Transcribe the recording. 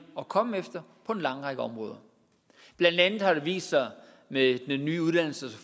at komme efter på en lang række områder blandt andet har det vist sig med den nye uddannelses